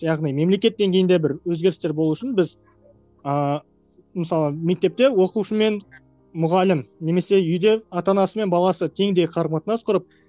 яғни мемлекет деңгейінде бір өзгерістер болу үшін біз ааа мысалы мектепте оқушы мен мұғалім немесе үйде ата анасы мен баласы теңдей қарым қатынас құрып